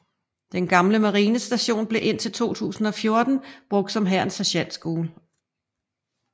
Den gamle marinestation blev indtil 2014 brugt som Hærens Sergentskole